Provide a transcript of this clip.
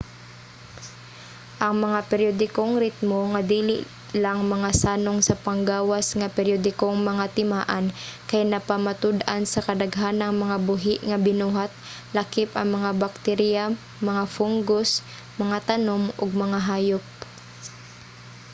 ang mga periodikong ritmo nga dili lang mga sanong sa panggawas nga periodikong mga timaan kay napamatud-an sa kadaghanang mga buhi nga binuhat lakip ang mga bakterya mga fungus mga tanom ug mgahayop